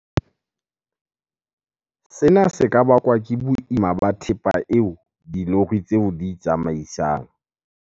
Sena se ka bakwa ke boima ba thepa eo dilori tseo di e tsamaisang.